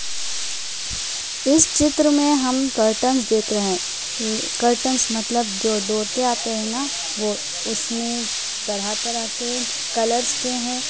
इस चित्र में हम कर्टंस देख रहे हैं। ले कर्टेंस मतलब जो डोर के आते हैं ना वो उसमें तरह तरह के कलर्स के हैं।